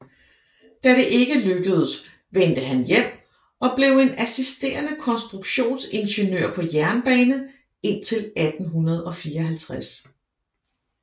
Da det ikke lykkedes vendte han hjem og blev en assisterende konstruktions ingeniør på jernbane indtil 1854